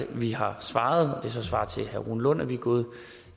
vi har svaret og så svar til herre rune lund at vi er gået